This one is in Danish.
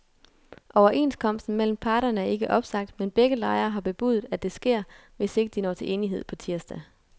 Overenskomsten mellem parterne er ikke opsagt, men begge lejre har bebudet, at det sker, hvis ikke de når til enighed på tirsdag.